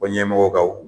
Fɔ ɲɛmɔgɔw ka